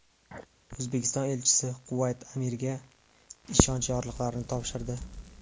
O‘zbekiston elchisi Kuvayt amiriga ishonch yorliqlarini topshirdi.